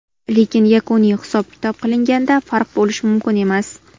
Lekin yakuniy hisob-kitob qilinganda farq bo‘lishi mumkin emas.